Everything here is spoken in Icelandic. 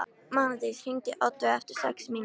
Mánadís, hringdu í Oddveigu eftir sex mínútur.